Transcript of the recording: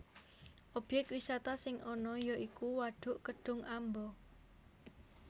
Obyek wisata sing ana ya iku wadhuk Kedhung Amba